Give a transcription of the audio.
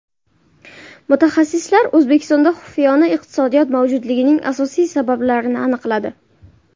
Mutaxassislar O‘zbekistonda xufiyona iqtisodiyot mavjudligining asosiy sabablarini aniqladi.